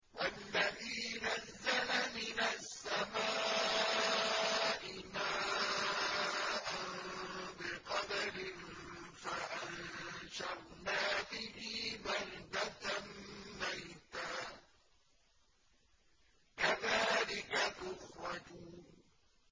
وَالَّذِي نَزَّلَ مِنَ السَّمَاءِ مَاءً بِقَدَرٍ فَأَنشَرْنَا بِهِ بَلْدَةً مَّيْتًا ۚ كَذَٰلِكَ تُخْرَجُونَ